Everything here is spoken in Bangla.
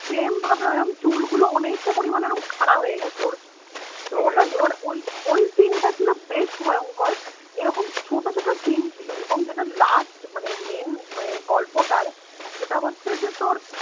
same ভাবে ওরম চুলগুলো অনেকটা পরিমানে খাঁড়া হয়ে গেছে ওর, ওটা মানে ওই scene টা ছিল বেশ ভয়ঙ্কর, এরকম ছোটো ছোটো scene ছিল, এবং যেটা last main গল্পটার সেটা হচ্ছে যে তোর